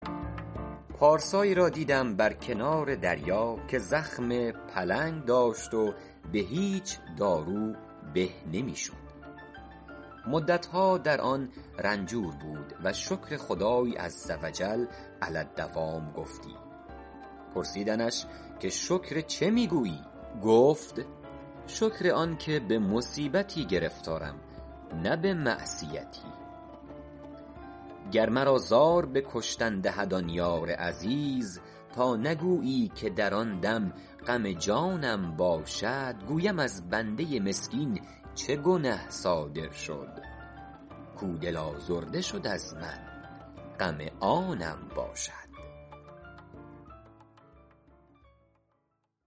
پارسایی را دیدم بر کنار دریا که زخم پلنگ داشت و به هیچ دارو به نمی شد مدتها در آن رنجور بود و شکر خدای عزوجل علی الدوام گفتی پرسیدندش که شکر چه می گویی گفت شکر آن که به مصیبتی گرفتارم نه به معصیتی گر مرا زار به کشتن دهد آن یار عزیز تا نگویی که در آن دم غم جانم باشد گویم از بنده مسکین چه گنه صادر شد کاو دل آزرده شد از من غم آنم باشد